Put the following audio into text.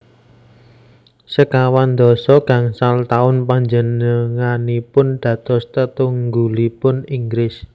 Sekawan dasa gangsal taun panjenenganipun dados tetunggulipun Inggris